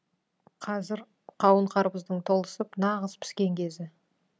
қазір қауын қарбыздың толысып нағыз піскен кезі